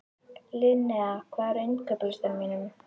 Linnea, hvað er á innkaupalistanum mínum?